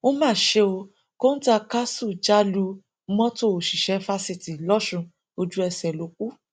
ó má ṣe ó kọńtá káṣù já lu mọtò òṣìṣẹ fásitì losùn ojúẹsẹ ló kù